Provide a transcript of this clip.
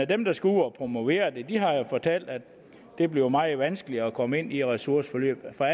dem der skal ud og promovere det har jo fortalt at det bliver meget vanskeligere at komme ind i de ressourceforløb for